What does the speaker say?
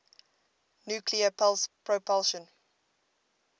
nuclear pulse propulsion